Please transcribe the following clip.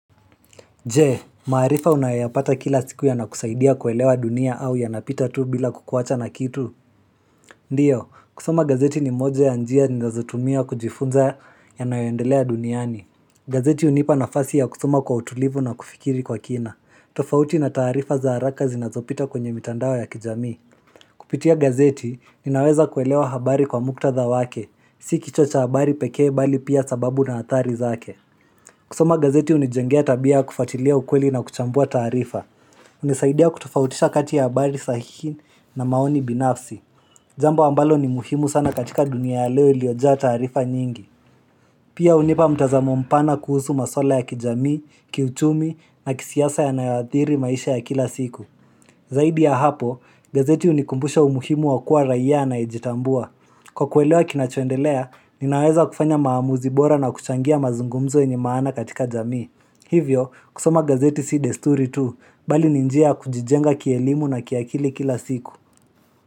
Je, maarifa unayapata kila siku yanakusaidia kuelewa dunia au yanapita tu bila kukuwacha na kitu Ndiyo, kusoma gazeti ni moja ya njia ni nazotumia kujifunza yanayoendelea duniani gazeti unipa nafasi ya kusoma kwa utulivu na kufikiri kwa kina, tofauti na taarifa za haraka zinazopita kwenye mitandao ya kijamii Kupitia gazeti, ninaweza kuelewa habari kwa muktadha wake, si kichocha habari pekee bali pia sababu na athari zake kusoma gazeti hunijengea tabia ya kufuatilia ukweli na kuchambua taarifa. Hunisaidia kutofautisha kati ya habari sahihi na maoni binafsi. Jambo ambalo ni muhimu sana katika dunia ya leo iliyojaa taarifa nyingi. Pia hunipa mtazamo mpana kuhusu maswala ya kijamii, kiuchumi na kisiasa yanayoathiri maisha ya kila siku. Zaidi ya hapo, gazeti hunikumbusha umuhimu wa kuwa raia anayejitambua. Kwa kuelewa kinachoendelea, ninaweza kufanya maamuzi bora na kuchangia mazungumzo yenye maana katika jamii. Hivyo, kusoma gazeti si desturi tu, bali ni njia ya kujijenga kielimu na kiakili kila siku.